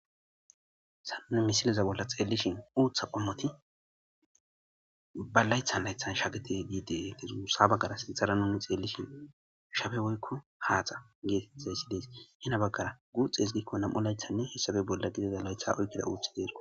Has nunn misiliza bolla xeelishin uutha qommoti ba laythan laythan shagete giideetezuussa baggara sinthara nuni xeellishi shabe woykko haaxa geetetzayssi dees hina baggara guuxees gikko nam'o laythanne hessabe bolla qidida laytha oykkida uuthi deerko.